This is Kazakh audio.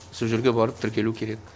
сол жерге барып тіркелу керек